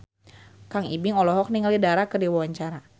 Kang Ibing olohok ningali Dara keur diwawancara